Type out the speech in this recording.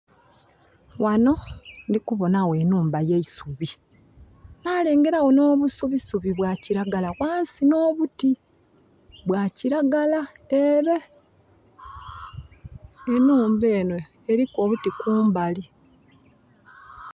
Ghano ndhi kubonha gho enhumba ye isubi. Nalengeragho nh'obusubisubi bwa kiragala ghansi nh'obuti bwa kiragala ele. Enhumba enho eliku obuti kumbali